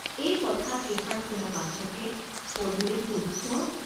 এই কথা কেষাৰ শুনা মাত্ৰকে পদুলে "সূৰ্য্য!